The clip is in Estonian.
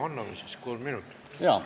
No anname siis kolm minutit.